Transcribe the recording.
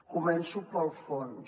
començo pel fons